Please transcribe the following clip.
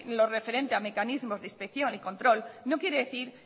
lo referente al mecanismos de inspección y control no quiere decir